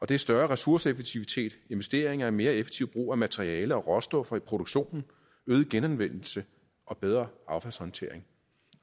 det er større ressourceeffektivitet investeringer i mere effektiv brug af materialer og råstoffer i produktionen øget genanvendelse og bedre affaldshåndtering